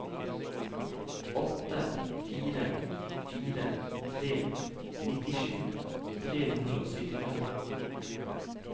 åtte fire fire tre nittisju tre hundre og syttifem